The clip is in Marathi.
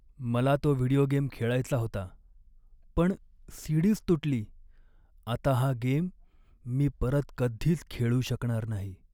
मला तो व्हिडिओ गेम खेळायचा होता पण सी.डी.च तुटली. आता हा गेम मी परत कधीच खेळू शकणार नाही.